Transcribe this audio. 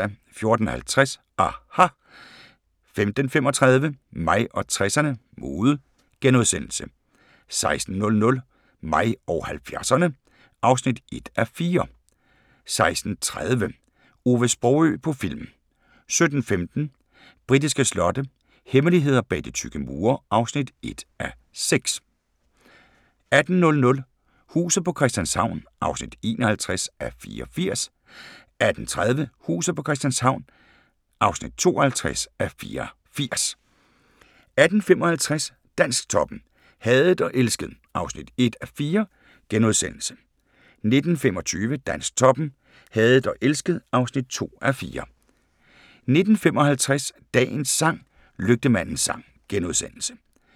14:50: aHA! 15:35: Mig og 60'erne: Mode * 16:00: Mig og 70'erne (1:4) 16:30: Ove Sprogøe på film 17:15: Britiske slotte – hemmeligheder bag de tykke mure (1:6) 18:00: Huset på Christianshavn (51:84) 18:30: Huset på Christianshavn (52:84) 18:55: Dansktoppen: Hadet og elsket (1:4)* 19:25: Dansktoppen: Hadet og elsket (2:4) 19:55: Dagens sang: Lygtemandens sang *